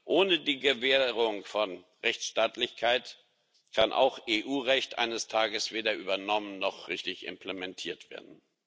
Ohne die Gewährung von Rechtsstaatlichkeit kann auch EU Recht eines Tages weder übernommen noch richtig implementiert werden.